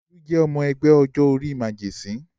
Olú jẹ́ ọmọ ẹgbẹ́ ọjọ́-orí màgẹ̀sín.